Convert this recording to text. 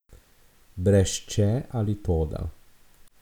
Brez če ali toda.